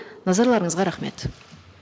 назарларыңызға рахмет